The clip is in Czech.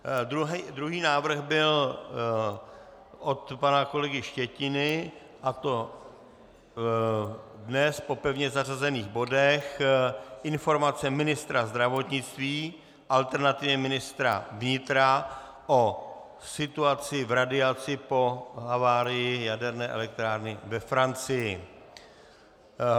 Druhý návrh byl od pana kolegy Štětiny, a to dnes po pevně zařazených bodech informace ministra zdravotnictví, alternativně ministra vnitra, o situaci v radiaci po havárii jaderné elektrárny ve Francii.